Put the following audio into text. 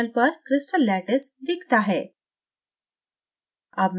panel पर crystal lattice दिखता है